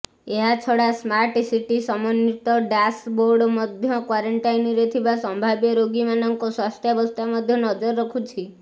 ଏହାଛଡା smart city ସମନ୍ବିତ dashboard ମଧ୍ୟ କ୍ବାରେଣ୍ଟାଇନରେ ଥିବା ସମ୍ଭାବ୍ୟ ରୋଗୀମାନଙ୍କ ସ୍ବାସ୍ଥ୍ୟାବସ୍ଥା ମଧ୍ୟ ନଜର ରଖୁଛି